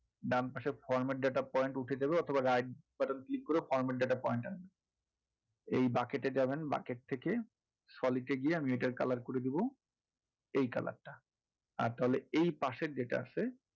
ডান পাশে format data point উঠিয়ে দেবেন অথবা right button click করে format data point আনবেন এই bucket এ যাবেন bucket থেকে এ গিয়ে আমি এটার color করে দেবো এই color টা আর তাহলে পাশের যেটা আছে,